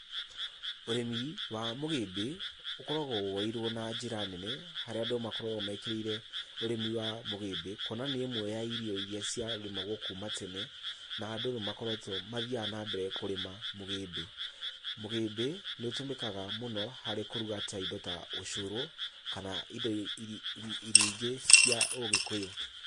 Ũrĩmi wa mũgĩmbĩ, ũkoragwo woeirwo na njĩra nene, harĩa andũ makoragwo mekĩrĩire ũrĩmi wa mũgĩmbĩ, kuona nĩ ĩmwe ya irio iria ciarĩmagwo kuma tene, na andũ nĩmakoretwo mathiaga na mbere kũrĩma mũgĩmbĩ. Mũgĩmbĩ nĩũtũmĩkaga mũno harĩ kũruga ta indo ta ũcũrũ, kana indo irio ingĩ cia Ũgĩkũyũ.